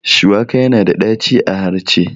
Shuwaka yana da ɗaci a harce